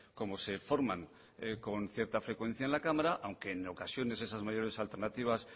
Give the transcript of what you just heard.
como se forman con cierta frecuencia en la cámara aunque en ocasiones esas mayores alternativas